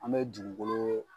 An bɛ dugukolo